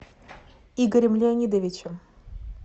игорем леонидовичем